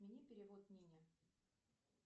отмени перевод нине